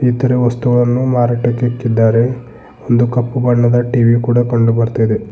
ಇತರ ವಸ್ತುಗಳನ್ನು ಮಾರಾಟಕ್ಕಿಕಿದ್ದಾರೆ ಇದು ಕಪ್ಪು ಬಣ್ಣದ ಟಿ_ವಿ ಕೂಡ ಕಂಡು ಬರ್ತಾ ಇದೆ.